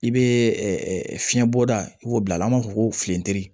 I bɛ fiɲɛ bɔ da i b'o bila a la an b'a fɔ ko filentiri